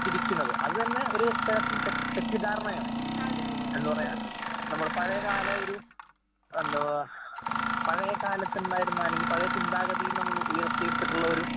തിരിക്കുന്നത്. അതുതന്നെ ഒരു തെ തെറ്റ് തെറ്റിദ്ധാരണയാണ്. എന്ന്പറഞ്ഞാ നമ്മള് പഴയകാലയൊരു എന്തുവാ പഴയകാലത്തുണ്ടായിരുന്ന അല്ലെങ്കി പഴയചിന്താഗതിയിൽനമ്മൾ ഉയർത്തിയെടുത്തിട്ടുള്ളയൊരു